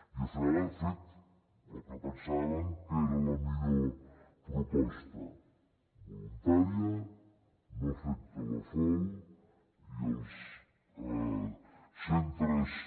i al final hem fet el que pensàvem que era la millor proposta voluntària no afecta la fol i els centres